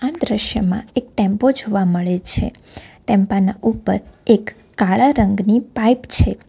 આ દ્રશ્યમાં એક ટેમ્પો જોવા મળે છે ટેમ્પાની ઉપર એક કાળા રંગની પાઇપ છે.